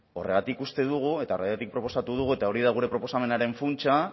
horregatik uste dugu eta horregatik proposatu dugu eta hori da gure proposamenaren funtsa